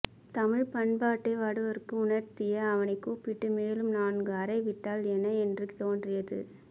தமிழ்ப்பண்பாட்டை வடவருக்கு உணர்த்திய அவனை கூப்பிட்டு மேலும் நான்கு அறை விட்டால் என்ன என்று தோன்றியது